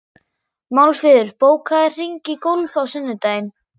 Málfríður, bókaðu hring í golf á sunnudaginn.